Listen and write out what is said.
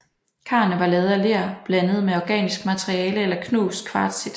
Karene var lavet af ler blandet med organisk materiale eller knust kvartsit